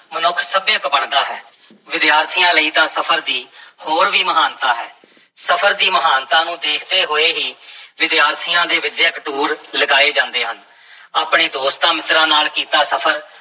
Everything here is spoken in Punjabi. ਮਨੁੱਖ ਸੱਭਿਅਕ ਬਣਦਾ ਹੈ, ਵਿਦਿਆਰਥੀਆਂ ਲਈ ਤਾਂ ਸਫ਼ਰ ਦੀ ਹੋਰ ਵੀ ਮਹਾਨਤਾ ਹੈ ਸਫਰ ਦੀ ਮਹਾਨਤਾ ਨੂੰ ਦੇਖਦੇ ਹੋਏ ਹੀ ਵਿਦਿਆਰਥੀਆਂ ਦੇ ਵਿੱਦਿਅਕ ਟੂਰ ਲਗਾਏ ਜਾਂਦੇ ਹਨ ਆਪਣੇ ਦੋਸਤਾਂ-ਮਿੱਤਰਾਂ ਨਾਲ ਕੀਤਾ ਸਫ਼ਰ